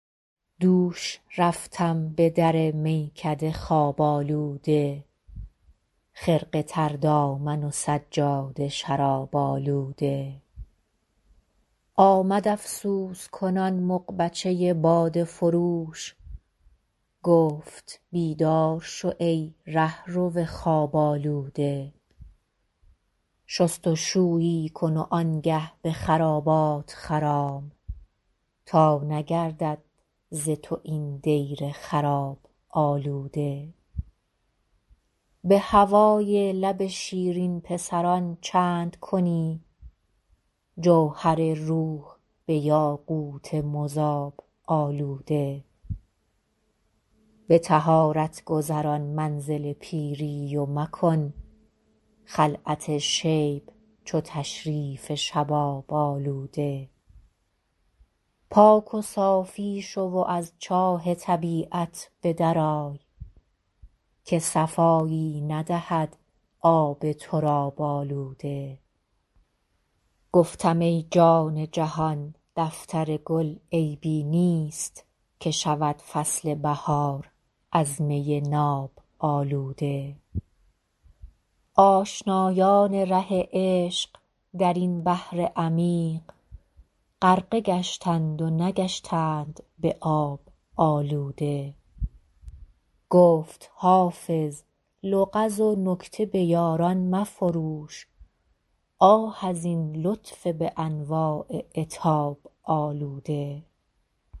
دوش رفتم به در میکده خواب آلوده خرقه تر دامن و سجاده شراب آلوده آمد افسوس کنان مغبچه باده فروش گفت بیدار شو ای رهرو خواب آلوده شست و شویی کن و آن گه به خرابات خرام تا نگردد ز تو این دیر خراب آلوده به هوای لب شیرین پسران چند کنی جوهر روح به یاقوت مذاب آلوده به طهارت گذران منزل پیری و مکن خلعت شیب چو تشریف شباب آلوده پاک و صافی شو و از چاه طبیعت به در آی که صفایی ندهد آب تراب آلوده گفتم ای جان جهان دفتر گل عیبی نیست که شود فصل بهار از می ناب آلوده آشنایان ره عشق در این بحر عمیق غرقه گشتند و نگشتند به آب آلوده گفت حافظ لغز و نکته به یاران مفروش آه از این لطف به انواع عتاب آلوده